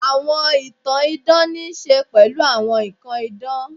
Àwọn ìtàn idán ní í ṣe pẹ̀lú àwọn nnkan idán